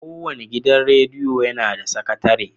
Kowane gidan rediyo yana da sakatare.